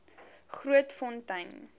grootfontein